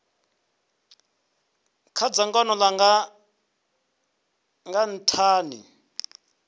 kha dzangano langa nga nthani